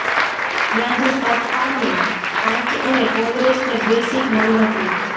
ત્યાં જ સપાને પાંચ અને કોંગ્રેસને બે સીટ મળી હતી